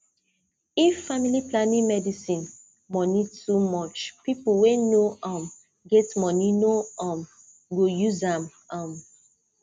if family planning medicine money too much people wey no um get money no um go use am um